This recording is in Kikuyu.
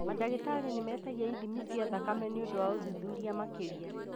Mandagĩtarĩ nĩmetagia ithimi cia thakame nĩũndũ wa ũthuthuria makĩria